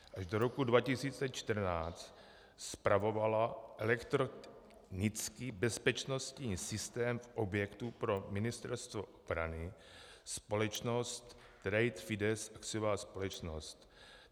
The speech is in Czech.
Až do roku 2014 spravovala elektronický bezpečnostní systém v objektu pro Ministerstvo obrany společnost Trade FIDES, akciová společnost.